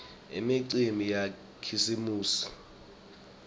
imicimbi yakhisimusi